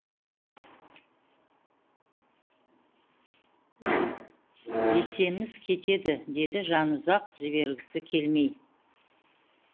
есеміз кетеді деді жанұзақ жібергісі келмей